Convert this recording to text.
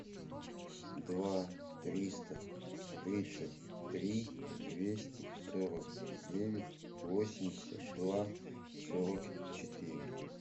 два триста тридцать три двести сорок девять восемьдесят два сорок четыре